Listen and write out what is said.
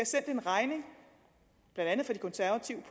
sendt en regning blandt andet fra de konservative